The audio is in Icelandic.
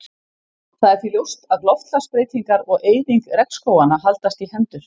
Það er því ljóst að loftslagsbreytingar og eyðing regnskóganna haldast í hendur.